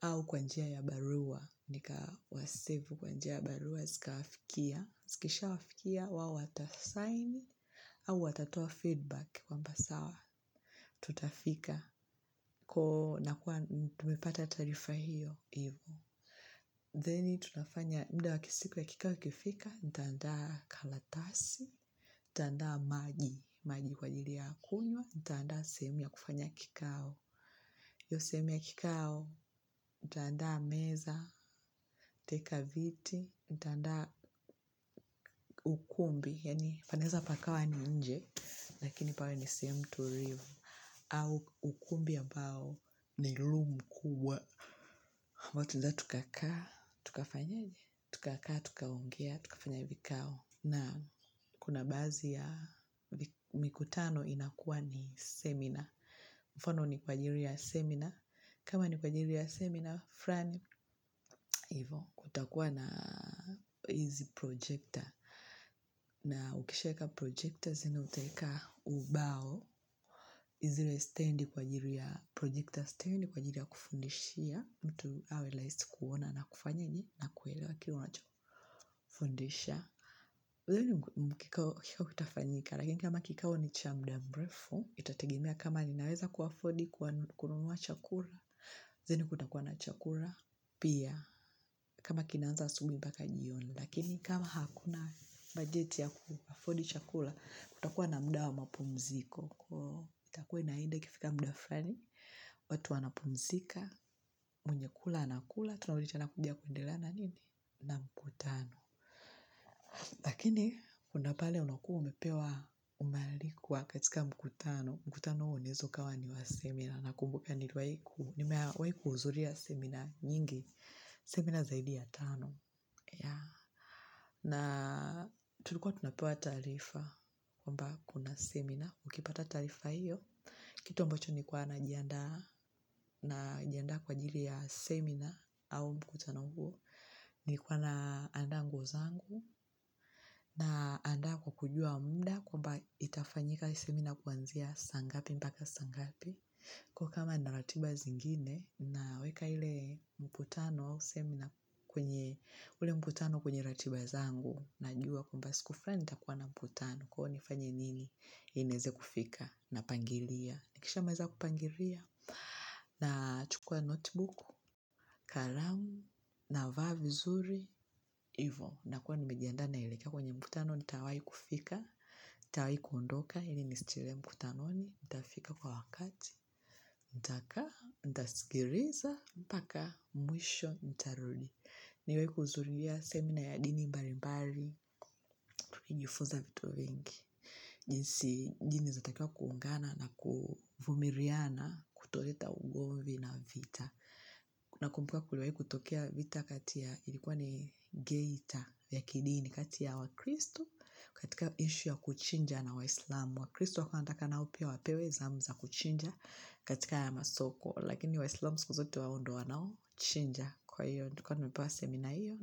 au kwa njia ya barua. Nikawasevu kwa njia ya barua, zikawafikia. Zikishawafikia wao watasaini au watatoa feedback kwamba sawa. Tutafika ko nakuwa tumepata taarifa hiyo hivo then tunafanya muda wa kisiku ya kikao kifika nitaandaa karatasi, nitaanaa maji, maji kwa ajili ya kunywa, nitaandaa sehemu ya kufanya kikao, hiyo sehemu ya kikao nitaandaa meza nitaweka viti nitaandaa ukumbi yaani panaweza pakawa ni nje lakini pawe ni sehemu tulivu au ukumbi ambao ni room kubwa huwa tunaweza tukakaa tukafanyeje, tukakaa, tukaongea, tukafanya vikao naam kuna baadhi ya mikutano inakuwa ni seminar, mfano ni kwa ajili ya seminar, kama ni kwa ajili ya seminar, fulani hivo, kutakuwa na easy projector na ukishaweka projector tena utaweka ubao zile stand kwa ajili ya projector stand kwa ajili ya kufundishia mtu awe rahisi kuona na kufanyeje, na kuelewa kile unachofundisha uzuri mkikao hakika ukiwa hautafanyika lakini kama kikao ni cha muda mrefu itategemea kama ninaweza kuafodi kununua chakula zenu kutakuwa na chakula pia kama kinaanza asubuhi mpaka jioni lakini kama hakuna bajeti ya kuafodi chakula kutakuwa na muda wa mapumziko kwa hiyo itakuwa inaenda ikifika muda fulani, watu wanapumzika mwenye kula anakula. Tunarudi tena kuja kuendelea na nini? Na mkutano. Lakini, kuna pale unakuwa umepewa umealikwa katika mkutano. Mkutano huo unaweza ukawa ni wa seminar. Nakumbuka niliwahi ku. Nimewahi kuhudhuria seminar nyingi. Seminar zaidi ya tano. Ya. Na tulikuwa tunapewa taarifa. Kwamba kuna seminar. Ukipata taarifa hiyo. Kitu ambacho nilikuwa najiandaa. Najianda kwa ajili ya seminar. Au mkutano huo. Nilikuwa naandaa nguo zangu naandaa kwa kujua muda kwamba itafanyika hii semina kuanzia saa ngapi mpaka saa ngapi. Kwa hiyo kama ninaratiba zingine naweka ile mkutano au seminar kwenye ule mkutano kwenye ratiba zangu. Najua kwamba siku fulani nitakuwa na mkutano kwa hiyo nifanye nini ili nieze kufika, napangilia, nikishamaliza kupangilia nachukua notebook, kalamu navaa vizuri, hivyo nakuwa nimejiandaa naelekea kwenye mkutano nitawahi kufika, nitawai kundoka, ili nisichelewe mkutanoni nitafika kwa wakati, nitakaa, nitasikiliza mpaka mwisho, nitarudi, niwe kuhudhuria seminar ya dini mbalimbali hujifunza vitu vingi, jinsi jini zitakiwa kuungana na kuvumiliana kutoleta ugomvi na vita nakumbuka kuliwahi kutokea vita kati ya ilikuwa ni geita ya kidini katia ya wakristo katika issue ya kuchinja na waislamu, wakristo walikuwa wanataka nao pia wapewe zamu za kuchinja katika ya masoko lakini waislamu siku zote wao ndio wanaochinja kwa hiyo tulikuwa tumepewa seminar hiyo.